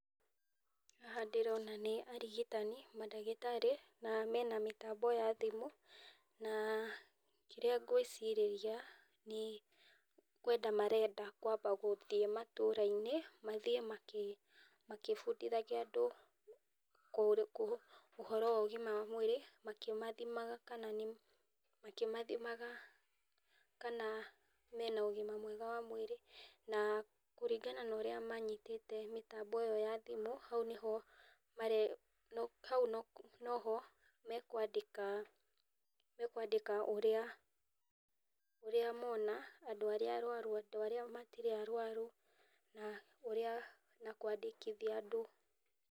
Haha ndĩrona nĩ arigitani, mandagitarĩ, na meno mĩtambo ya thimũ, na kĩrĩa ngwĩcirĩria, nĩ kwenda marenda kwamba gũthiĩ matũũra-inĩ, mathiĩ makĩbundithagia andũ ũhoro wa ũgima wa mwĩrĩ, makĩmathimaga kana, makĩmathimaga kana mena ũgima mwega wa mwĩrĩ, na kũringana norĩa manyitĩte mĩtambo ĩyo ya thimũ, hau no ho mekwandĩka ũrĩa moona, andũ arĩa arwaru, andũ arĩa matirĩ arwaru, na kwandĩkithia andũ.